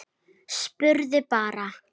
Spurði bara.